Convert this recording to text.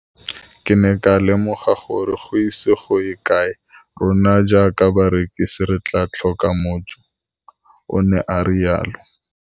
Ke ne ka lemoga gore go ise go ye kae rona jaaka barekise re tla tlhoka mojo, o ne a re jalo.